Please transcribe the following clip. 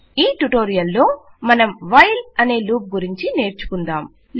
ఈ ట్యుటోరియల్ లో మనం వైల్ అనే లూప్ గురించి నేర్చుకుందాం